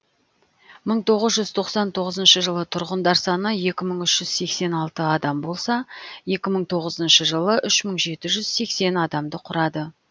мың тоғыз жүз тоқсан тоғызыншы жылы тұрғындар саны екі мың үш жүз сексен алты адам болса екі мың тоғызыншы жылы үш мың жеті жүз сексен адамды құрады